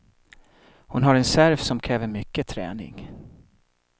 Hon har en serve som kräver mycket träning.